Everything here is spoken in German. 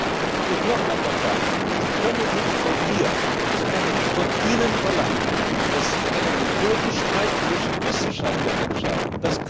Aber ich muss noch einmal sagen Sie können nicht von mir und ich kann nicht von Ihnen verlangen, dass Sie einen Methodenstreit zwischen Wissenschaftlern entscheiden.